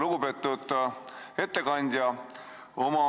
Lugupeetud ettekandja!